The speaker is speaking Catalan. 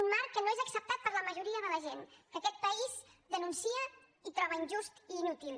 un marc que no és acceptat per la majoria de la gent que aquest país denuncia i troba injust i inútil